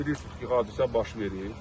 Bilirsiniz ki, hadisə baş verib.